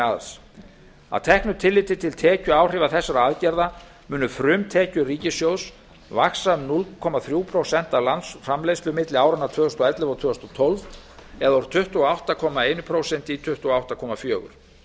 arðs að teknu tilliti til tekjuáhrifa þessara aðgerða munu frumtekjur ríkissjóðs vaxa um núll komma þrjú prósent af landsframleiðslu milli áranna tvö þúsund og ellefu og tvö þúsund og tólf úr tuttugu og átta komma eitt prósent í tuttugu og átta komma fjögur prósent